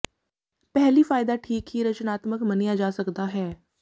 ਪਹਿਲੀ ਫਾਇਦਾ ਠੀਕ ਹੀ ਰਚਨਾਤਮਕ ਮੰਨਿਆ ਜਾ ਸਕਦਾ ਹੈ